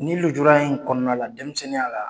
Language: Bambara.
Ni lujura in kɔnɔna la denmisɛnninya la